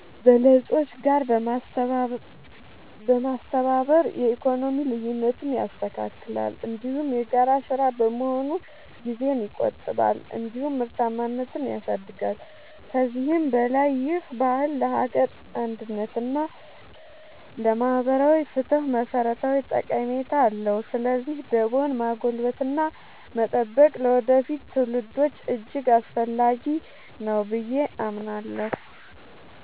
በለጾች ጋር በማስተባበር የኢኮኖሚ ልዩነትን ያስተካክላል፤ እንዲሁም የጋራ ሥራ በመሆኑ ጊዜን ይቆጥባል እንዲሁም ምርታማነትን ያሳድጋል። ከዚህም በላይ ይህ ባህል ለሀገር አንድነት እና ለማህበራዊ ፍትህ መሠረታዊ ጠቀሜታ አለው። ስለዚህ ደቦን ማጎልበትና መጠበቅ ለወደፊት ትውልዶች እጅግ አስፈላጊ ነው ብዬ አምናለሁ።